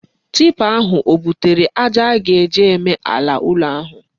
Tipa ahụ o butere aja a ga-eji eme ala ụlọ ahụ?